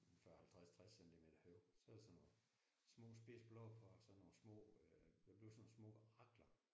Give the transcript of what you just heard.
En 40 50 60 centimeter høj så er der sådan nogle små spidse blå på og sådan nogle små øh der bliver sådan nogle små rakler